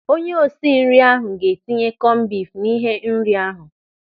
Onyeosi nri ahu ga-etinye kọmbif n'ihe nri ahụ.